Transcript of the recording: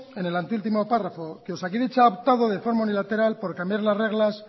en el anteúltimo párrafo que osakidetza ha optado de forma unilateral por cambiar las reglas